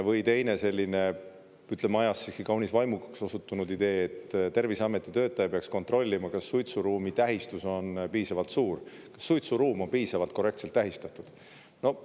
Või teine selline, ütleme, ajas siiski kaunis vaimukaks osutunud idee, et Terviseameti töötaja peaks kontrollima, kas suitsuruumi tähistus on piisavalt suur, kas suitsuruum on piisavalt korrektselt tähistatud.